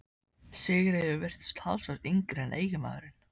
Sigríður virtist talsvert yngri en eiginmaðurinn.